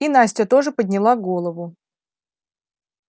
и настя тоже подняла голову